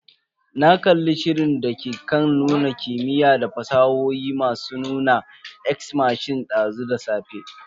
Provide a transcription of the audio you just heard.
Na kalli shirin dake kan nuna kimiyya da fasahohi mai suna "Ex machina" dazu da safe.